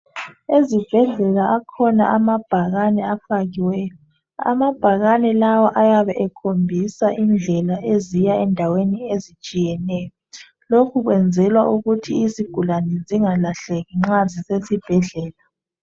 Ezibhedlela akhona amabhakane afakiweyo. Amabhakane lawa ayabe ekhombisa indlela eziya endaweni ezitshiyeneyo. Lokhu kwenzelwa ukuthi izigulane zingalahleki nxa zisesibhedlela.